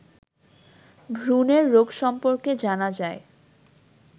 ভ্রূণের রোগ সম্পর্কে জানা যায়